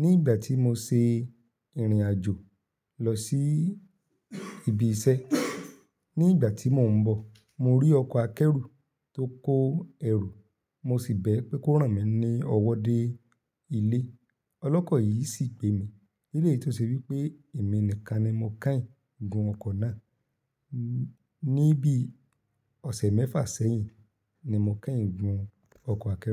Ní ìgbà tí mo ṣe ìrìn àjò lọ sí ibi iṣẹ́. Ní ìgbà tí mò ń bọ̀, mo rí ọkọ̀ akẹ́rù tó kó ẹrù mo sì bẹ̀ ẹ́ pé kó rán mi ní ọwọ́ dé ilé. Ọlọ́kọ̀ yìí sì gbemi nílé tó ṣe wí pé èmi nìkan ni mo kẹ́yìn gun ọkọ̀ náà ní bí ọ̀sẹ̀ mẹ́fà sẹ́yìn ni mo kẹ́yìn gun ọkọ̀ akẹ́rù.